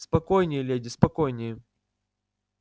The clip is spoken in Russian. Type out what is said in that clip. спокойнее леди спокойнее